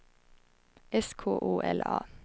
S K O L A